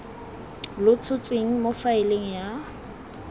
lo tshotsweng mo faeleng ya